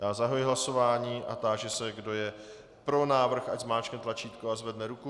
Já zahajuji hlasování a táži se, kdo je pro návrh, ať zmáčkne tlačítko a zvedne ruku.